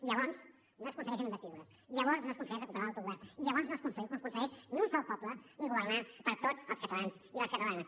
i llavors no s’aconsegueixen investidures i llavors no s’aconsegueix recuperar l’autogovern i llavors no s’aconsegueix ni un sol poble ni governar per a tots els catalans i les catalanes